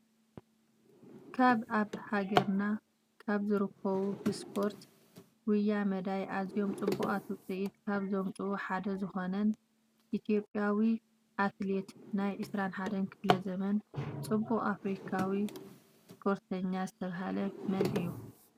ካብ ኣብ ሃገርና ካብ ዝርከቡ ብስፖርት ጉያ መዳይ ኣዝዮም ፅቡቅ ውፅኢት ካብ ዘምፅኡ ሓደ ዝኮነን ኢትዮጵያዊ ኣትሌት ናይ 21 ክፍለ ዘመን ፅቡቅኣፍሪካዊስፖርተኛ ዝተባህለ መን እዩ?